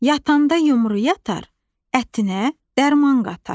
yatanda yumru yatar, ətinə dərman qatar.